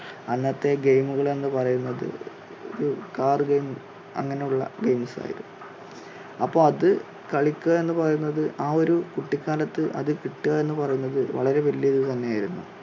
അന്നത്തെ game മുകൾ എന്ന് പറയുന്നത് ഒരു കാർ game അങ്ങനെ ഉള്ള games ായിരുന്നു. അപ്പോ അത് കളിക്കുക എന്ന് പറയുന്നത് ആ ഒരു കുട്ടികാലത്ത് അത് കിട്ടുകാ എന്നു പറയുന്നത് വളരെ വലിയ ഒരു ഇത് തന്നെ ആയിരുന്നു.